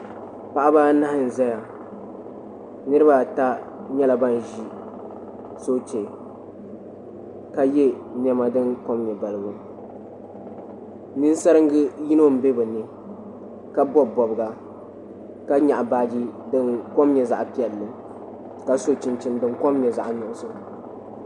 Paɣaba anahi n zaya niriba ata nyɛla ban ʒi soochɛ ka ye nema din kom nyɛ balibu ninsaringa yino mbe bini ka bobi bobga ka nyaɣi baaji dinkom nyɛ zaɣa piɛnli ka so chinchini dinkom nyɛ zaɣa nuɣuso.